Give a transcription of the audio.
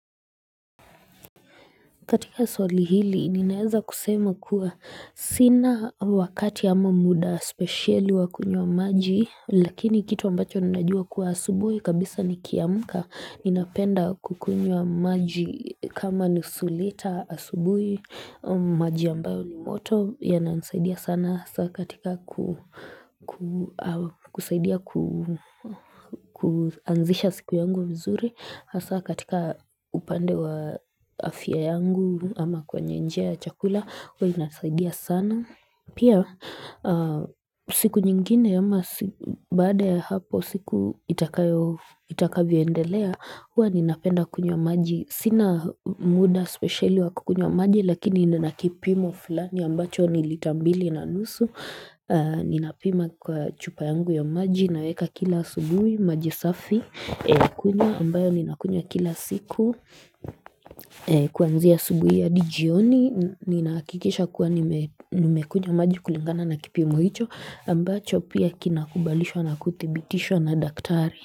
Katika swali hili ninaeza kusema kuwa sina wakati ama muda specieli wa kunywa maji Lakini kitu ambacho ninajua kuwa asubui kabisa nikiamka Ninapenda kukunywa maji kama nusu lita asubuhi maji ambayo ni moto yanansaidia sana katika kusaidia kuanzisha siku yangu mzuri Hasa katika upande wa afya yangu ama kwenye njia ya chakula, huwa inasaidia sana. Pia, siku nyingine ama baada hapo siku itakavyoendelea, huwa ninapenda kunywa maji. Sina muda speciali wa kunywa maji, lakini nina kipimo fulani ambacho ni lita mbili na nusu. Ninapima kwa chupa yangu ya maji naweka kila subuhi, maji safi. Kunywa ambayo ninakunywa kila siku kuanzia asubuhi adi jioni Ninakikisha kuwa nimekunywa maji kulingana na kipimo hicho ambacho pia kinakubalisho na kutibitisho na daktari.